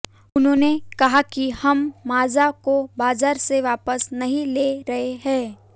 उन्होंने कहा कि हम मांजा को बाजार से वापस नहीं ले रहे हैं